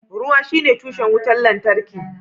Ruwa shine tushen wutar lantarki